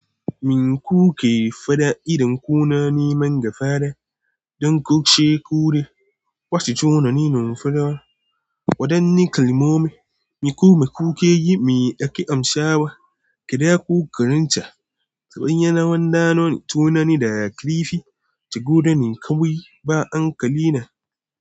Min ku ke fada idan ku na neman gafara. Don ku ce ku ne wasu tunanin numfara. Waɗanne kalmomi mi kuma mmku ke yi, me ake amsa wa? Kada ku karanta ta hanyar waɗannan tunani da karfi, shigo da ni kawai, ba hankali na.